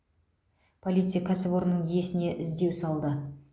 полиция кәсіпорынның иесіне іздеу салды